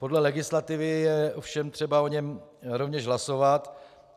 Podle legislativy je ovšem třeba o něm rovněž hlasovat.